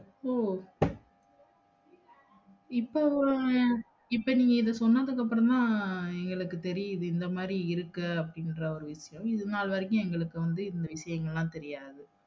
ஓ இப்ப இப்போ நீங்க இத சொன்னதுக்கப்பறம் தா எங்களுக்கு தெரியுது இந்த மாதிரி இருக்கு அப்படின்ற ஒரு விஷயம் இது நாள் வரைக்கும் எங்களுக்கு வந்து இந்த விசயங்கலாம் தெரியாது